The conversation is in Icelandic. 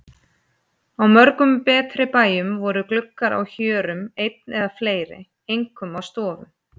Á mörgum betri bæjum voru gluggar á hjörum einn eða fleiri, einkum á stofum.